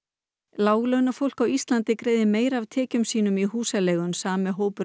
láglaunafólk á Íslandi greiðir meira af tekjum sínum í húsaleigu en sami hópur